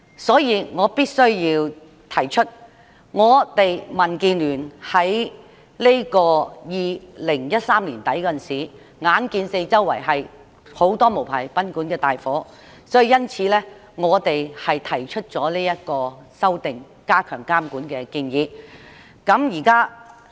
所以，我必須指出，民主建港協進聯盟在2013年年底時，看到有很多無牌賓館發生火警，因此，便提出修訂有關條例以加強監管。